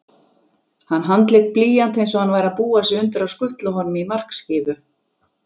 Hann handlék blýant einsog hann væri að búa sig undir að skutla honum í markskífu